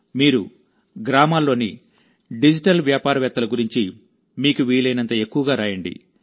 మీరు గ్రామాల్లోని డిజిటల్ వ్యాపారవేత్తల గురించి మీకు వీలైనంత ఎక్కువగా రాయండి